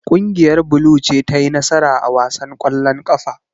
Kungiyar blue ce ta yi nasara a wasan kwallon kafa.